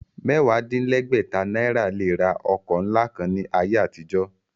Mẹ́wàá-dín-légbẹ̀ta náírà lè ra ọkọ̀ ńlá kan ní ayé àtijọ́.